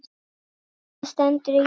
Og hvað stendur í því?